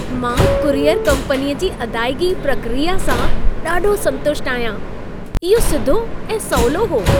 मां कुरियर कम्पनीअ जी अदाइगी प्रक्रिया सां ॾाढो संतुष्ट आहियां। इहो सिधो ऐं सवलो हो।